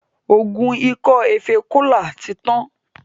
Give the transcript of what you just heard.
oògùn Ikọ efée Tola tí Yàn.